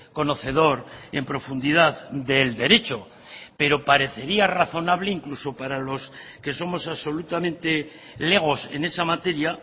conocedor en profundidad del derecho pero parecería razonable incluso para los que somos absolutamente legos en esa materia